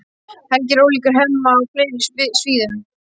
Helgi er ólíkur Hemma á fleiri sviðum.